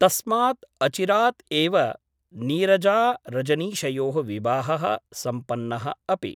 तस्मात् अचिरात् एव नीरजारजनीशयोः विवाहः सम्पन्नः अपि ।